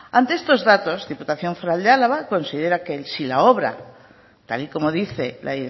ante estos datos diputación foral de álava considera que si la obra tal y como dice la